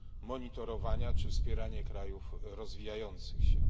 monitorowania, czy wspieranie krajów rozwijających się.